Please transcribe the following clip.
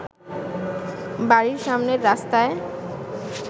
বাড়ির সামনের রাস্তায়